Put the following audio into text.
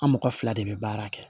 An mɔgɔ fila de bɛ baara kɛ